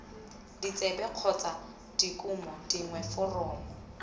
ditsebe kgotsa dikumo dingwe foromo